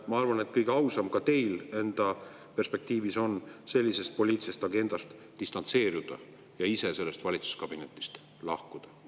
Ma arvan, et kõige ausam ka teie enda perspektiivist on sellisest poliitilisest agendast distantseeruda ja ise sellest valitsuskabinetist lahkuda.